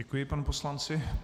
Děkuji panu poslanci.